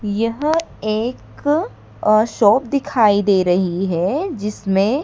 यह एक a shop दिखाई दे रही है जिसमें--